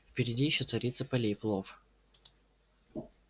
впереди ещё царица полей плов